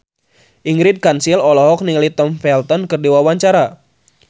Ingrid Kansil olohok ningali Tom Felton keur diwawancara